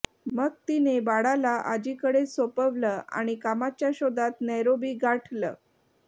मग तिने बाळाला आजीकडे सोपवलं आणि कामाच्या शोधात नैरोबी गाठलं